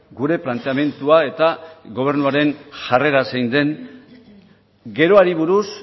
gure planteamendua eta gobernuaren jarrera zein den geroari buruz